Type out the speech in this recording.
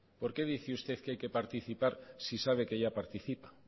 por qué dice usted que hay que participar si sabe que ya participa